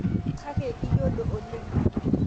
Kake iyiodo oleng